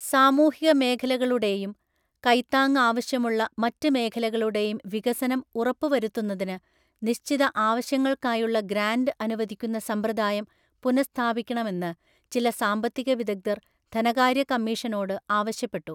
സാമൂഹികമേഖലകളുടെയും, കൈത്താങ്ങ് ആവശ്യമുള്ള മറ്റ് മേഖലകളുടെയും വികസനം ഉറപ്പ് വരുത്തുന്നതിന് നിശ്ചിത ആവശ്യങ്ങൾക്കായുള്ള ഗ്രാന്റ് അനുവദിക്കുന്ന സമ്പ്രദായം പുനഃസ്ഥാപിക്കണമെന്ന് ചില സാമ്പത്തിക വിദഗ്ധര്‍ ധനകാര്യ കമ്മീഷനോട് ആവശ്യപ്പെട്ടു.